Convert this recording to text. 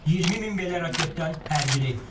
20 min belə raketdən hər biri.